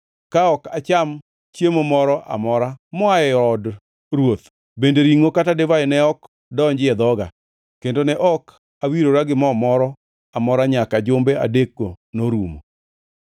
ka ok acham chiemo moro amora moa e od ruoth bende ringʼo kata divai ne ok donji e dhoga, kendo ne ok awirora gi mo moro amora nyaka jumbe adekgo norumo.